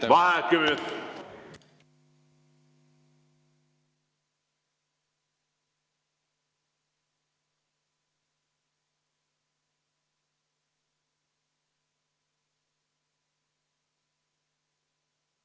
Vaheaeg kümme minutit.